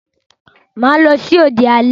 Mà á lọ sí òde alẹ́.